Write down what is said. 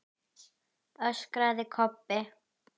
öskraði Kobbi.